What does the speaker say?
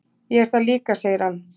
"""Ég er það líka, segir hann."""